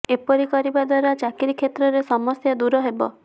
ଏପରି କରିବା ଦ୍ବାରା ଚାକିରୀ କ୍ଷେତ୍ରରେ ସମସ୍ୟା ଦୂର ହେବ